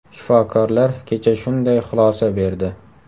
Shifokorlar kecha shunday xulosa berdi.